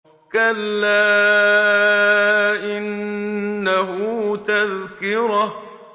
كَلَّا إِنَّهُ تَذْكِرَةٌ